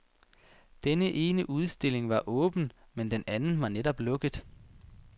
Den ene udstilling var åben, men den anden var netop lukket.